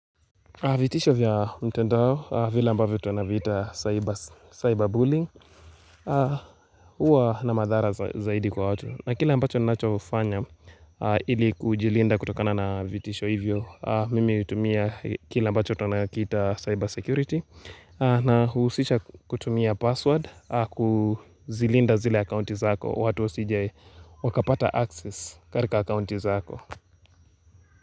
Vitisho vya mtendao, vile ambavyo tunaviita cyberbullying, huwa na madhara zaidi kwa watu. Na kile ambacho ninachofanya ili kujilinda kutokana na vitisho hivyo, mimi hutumia kile ambacho tunakiita cyber security. Inahusisha kutumia password, kuzilinda zile accounti zako, watu wasijewakapata access katika accounti zako.